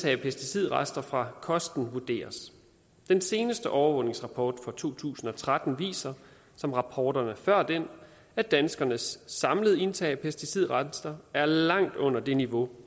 af pesticidrester fra kosten vurderes den seneste overvågningsrapport fra to tusind og tretten viser som rapporterne før den at danskernes samlede indtag af pesticidrester er langt under det niveau